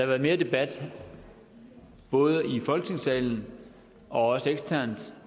været mere debat både i folketingssalen og også eksternt